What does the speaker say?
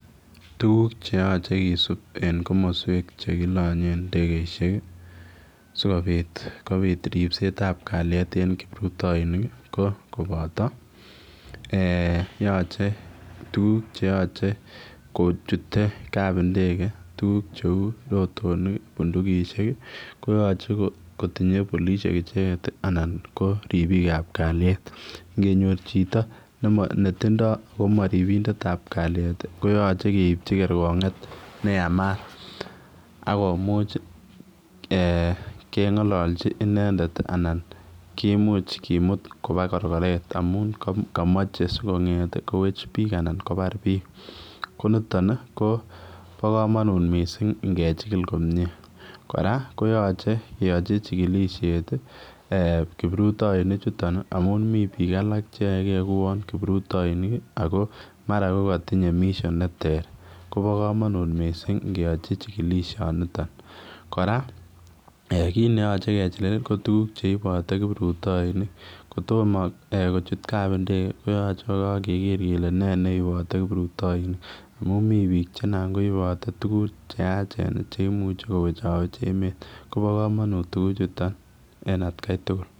Tuguuk che yachei kisuup en komosweek che kolanyeen ndegeisiek ii sikobiit kobiit ripset ab kaliet eng kiprutainik ko kobataa eeh yachei eeh tuguuk che yachei ko chutee kapndege tuguuk che uu rotonik bundukisiek ko yachei kotinyei polisiek ichegeet anan ko ripiik ab kaliet ,ingonyoor chito ne tindoi ako maripig ab kaliet ko yachei keipchiin kergongeet ne yamaat, akomuuch ii kengalachii inendet ii anan komuuch komuut kobaa korkoret amuun kamachei sikongeet kowech biik anan kobaar biik ko nitoon ii kobaa kamanut missing ingejigil komyei, kora koyachei keyachi chikilisheet kiprutainik chutoon ii amuun Mii biik alaak che yae gei ko kiprutainik ii ako mara komatinyei mission be teer kobaa kamanuut Missing ingeyachii chikilisheet nitoon, kora kiit neyachei kechikil ko tuguuk cheibe kiprutainik kotomah kochuut kapndege koyachei ko kager kole nee neibate kiprutainik amuun Mii biik che naan koibate tuguuk che yacheen cheimuuch kowechaweech emet kobaa kamanuut tuguuk chotoon en at Kai tugul.